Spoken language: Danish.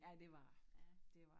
Ja det var den dét var den